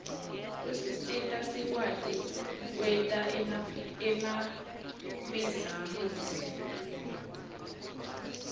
usisita sikwati kwerta emabihzarusi